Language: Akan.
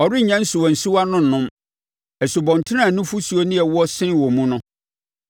Ɔrennya nsuwansuwa no nnom nsubɔntene a nufosuo ne ɛwoɔ sene wɔ mu no.